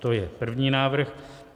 To je první návrh.